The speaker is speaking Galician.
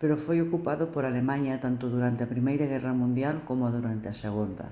pero foi ocupado por alemaña tanto durante a primeira guerra mundial coma durante a segunda